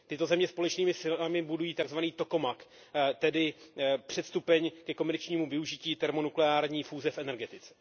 Tyto země společnými silami budují takzvaný tokamak, tedy předstupeň ke komerčnímu využití termonukleární fúze v energetice.